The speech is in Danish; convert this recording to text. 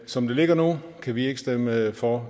som det ligger nu kan vi ikke stemme for